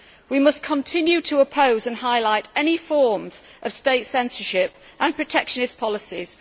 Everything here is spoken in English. We must continue to oppose and highlight any forms of state censorship and protectionist policies.